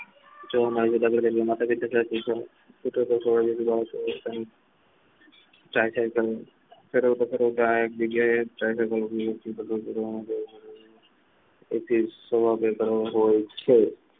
એક જગ્યાએ હોય તો